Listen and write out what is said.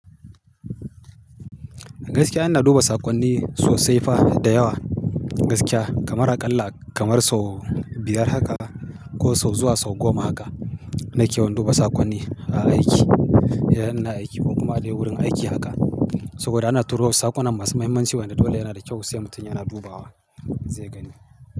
Gaskiya ina duba saƙonni sosai fa da yawa gaskiya kamar aƙalla kamar sau biyar haka ko sau zuwa sau goma haka nake wanduba saƙonni a aiki, idan ina aiki ko kuma dai wurin aiki haka. Saboda ana turo wa saƙonnan masu muhimmanci wanda dole yana da kyau sai mutum yana dubawa zai gani.